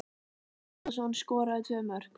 Arnór Atlason skoraði tvö mörk.